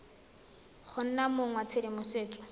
go nna mong wa tshedimosetso